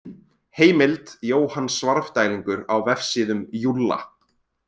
Heimild: Jóhann Svarfdælingur á Vefsíðum Júlla.